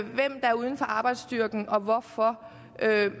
hvem der er uden for arbejdsstyrken og hvorfor